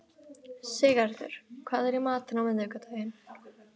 Siggerður, hvað er í matinn á miðvikudaginn?